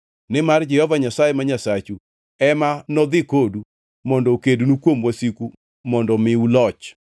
Nimar Jehova Nyasaye ma Nyasachu ema nodhi kodu mondo okednu kuom wasiku mondo omiu loch.”